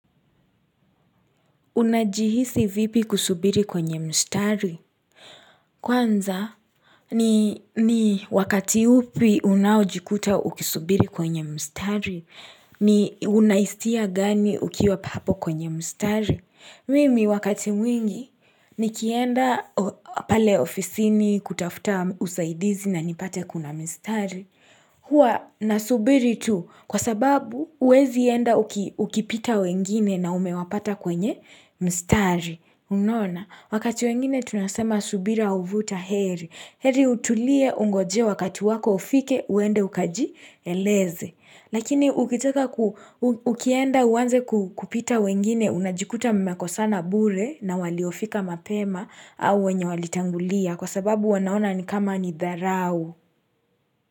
Unajihisi vipi kusubiri kwenye mstari? Kwanza ni wakati upi unaojikuta ukisubiri kwenye mstari, unaistia gani ukiwa hapo kwenye mstari? Mimi wakati mwingi nikienda pale ofisini kutafuta usaidizi na nipate kuna mistari. Huwa nasubiri tu kwa sababu huwezi enda ukipita wengine na umewapata kwenye mistari. Unaona, wakati wengine tunasema subira uvuta heri. Heri utulie ungojee wakati wako ufike uende ukajieleze. Lakini ukitoka ukienda uanze kupita wengine unajikuta mmekosana bure na waliofika mapema au wenye walitangulia kwa sababu wanaona ni kama ni dharau.